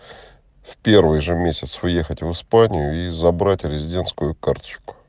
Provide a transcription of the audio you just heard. в первый же месяц уехать в испанию и забрать резидентскую карточку